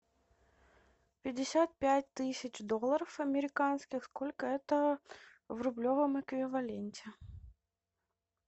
пятьдесят пять тысяч долларов американских сколько это в рублевом эквиваленте